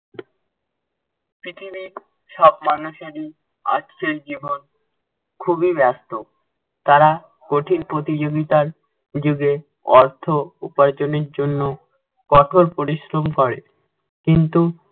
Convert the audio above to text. পৃথিবীর সব মানুষেরই আজকের জীবন খুবই ব্যস্ত। তারা কঠিন প্রতিযোগিতার যুগে অর্থ উপার্জনের জন্য কঠোর পরিশ্রম করে। কিন্তু